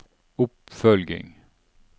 oppfølging